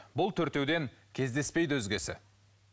бұл төртеуден кездеспейді өзгесі